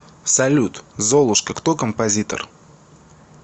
салют золушка кто композитор